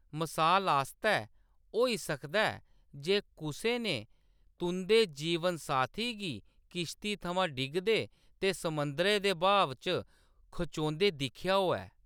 मसाल आस्तै, होई सकदा ऐ जे कुसै ने तुंʼदे जीवनसाथी गी किश्ती थमां डिगदे ते समुंदरै दे बहाव च खचोंदे दिक्खेआ होऐ।